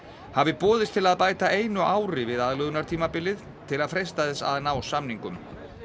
hafi boðist til að bæta einu ári við aðlögunartímabilið til að freista þess að ná samningum